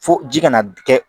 Fo ji kana kɛ